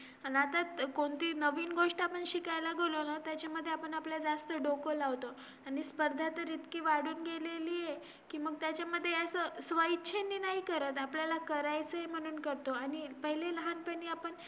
अन आता कोणती नवीन गोष्ट आपण शिकायला गेलो ना त्याच्यामध्ये आपण आपलय जास्त डोकं लावतो आणि स्पर्धा तर इतकी वाढून गेलेली ए की मग त्याच्यामध्ये असं स्व इच्छेने नाही करत आपल्याला करायचय म्हणून करतो आणि पहिले लहानपणी आपण